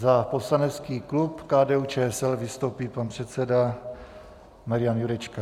Za poslanecký klub KDU-ČSL vystoupí pan předseda Marian Jurečka.